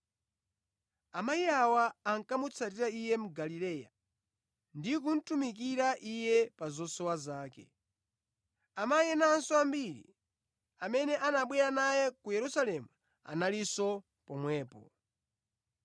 Amayi awa ankamutsatira Iye mu Galileya ndi kumutumikira Iye pa zosowa zake. Amayi enanso ambiri amene anabwera naye ku Yerusalemu analinso pomwepo.